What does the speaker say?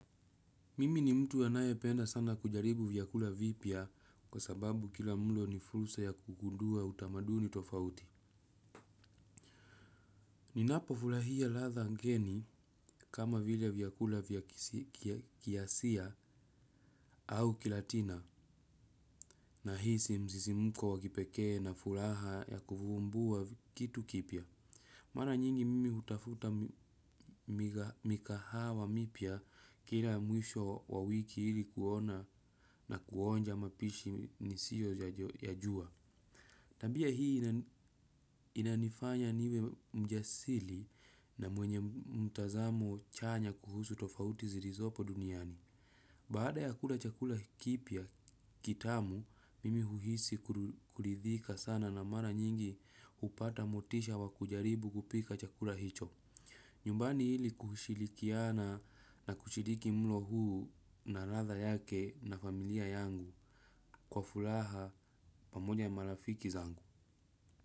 Mimi ni mtu anayependa sana kujaribu vyakula vipya kwa sababu kila mlo ni fursa ya kugundua utamaduni tofauti. Ninapofulahia ladha ngeni kama vile vyakula vya kiasia au kilatina nahisi msisimuko wa kipekee na furaha ya kuvumbua kitu kipya. Mara nyingi mimi hutafuta mikahawa mipya kila mwisho wa wiki ili kuona na kuonja mapishi nisio yajua. Tabia hii inanifanya niwe mjasili na mwenye mtazamo chanya kuhusu tofauti zirizopo duniani. Baada ya kula chakula kipya kitamu, mimi uhisi kuridhika sana na mara nyingi upata motisha wa kujaribu kupika chakula hicho. Nyumbani hili kushilikiana na kushiliki mlo huu na radha yake na familia yangu kwa fulaha pamoja na marafiki zangu.